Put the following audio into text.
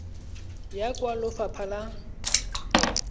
ya kwa go lefapha la